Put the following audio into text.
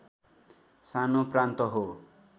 सानो प्रान्त हो